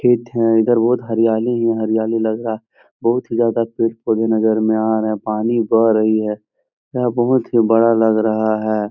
खेत है। इधर बहुत हरियाली ही हरियाली लग रा । बहुत ही ज्यादा पेड़-पौधे नजर में आ रहे। पानी बह रही है। यह बहुत ही बड़ा लग रहा है।